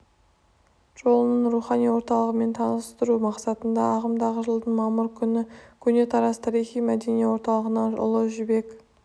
жолының рухани орталығымен таныстыру мақсатында ағымдағы жылдың мамыр күні көне тараз тарихи-мәдени орталығынан ұлы жібек